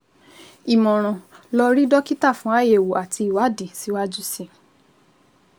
Ìmọ̀ràn: lọ rí dókítà fún àyẹ̀wò àti ìwádìí síwájú sí i